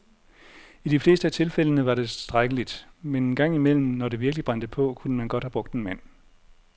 I de fleste af tilfældene var det tilstrækkeligt, men en gang imellem, når det virkelig brændte på, kunne man godt have brugt en mand.